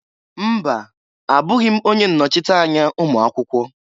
Mba! Abụghị m onye nnochite anya ụmụakwụkwọ.